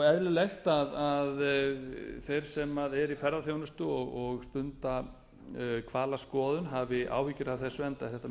eðlilegt að þeir sem eru í ferðaþjónustu og stunda hvalaskoðun hafi áhyggjur af þessu enda er þetta